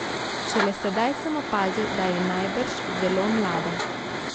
Šele sedaj sem opazil, da je najbrž zelo mlada.